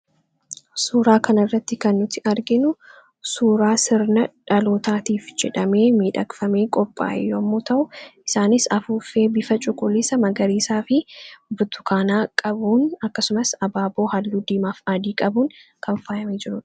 suuraa kanirratti kannuti arginu suuraa sirna dhalootaatiif jedhamee miidhaqfamee qophaa'ee yommuu ta'u isaanis afuuffee bifa cuqulisa magariisaa fi butukaanaa qabuun akkasumas abaaboo halluu diimaaf aadii qabuun kanfaa'amee jiru